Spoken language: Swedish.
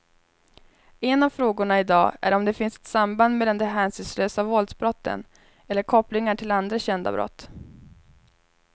En av frågorna i dag är om det finns ett samband mellan de hänsynslösa våldsbrotten eller kopplingar till andra kända brott.